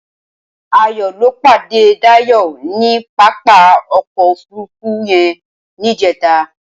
Ayo lọ pàdé Dayo ni pápá ọkọ ófùrùfù yèn nijẹtà